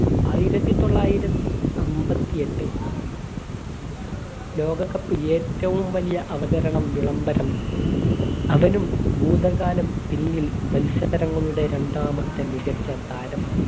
ആയിരത്തിത്തൊള്ളായിരത്തി അമ്പത്തി എട്ട് ലോക cup ഏറ്റവും വലിയ അവതരണം വിളംബരം അവനും ഭൂതകാലം പിന്നിൽ മത്സരങ്ങളുടെ രണ്ടാമത്തെ മികച്ച താരം